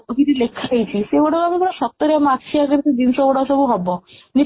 ବହିରେ ଲେଖା ହେଇଛି ସେଇଗୁଡ଼ା ଆମେ ପୁରା ଆମ ଆଖିରେ ଆଗରେ ଜିନିଷ ଗୁଡା ସବୁ ହବ